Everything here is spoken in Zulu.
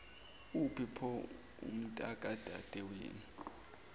uphi pho umntakadadewenu